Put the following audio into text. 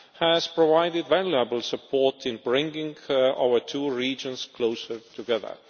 has provided valuable support in bringing our two regions closer together.